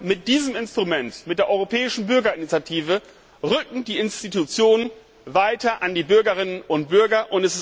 Mit diesem Instrument, mit der Europäischen Bürgerinitiative, rücken die Institutionen näher an die Bürgerinnen und Bürger.